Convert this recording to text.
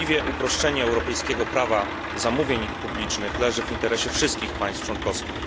Uproszczenie europejskiego prawa zamówień publicznych niewątpliwie leży w interesie wszystkich państw członkowskich.